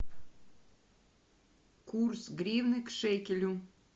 курс гривны к шекелю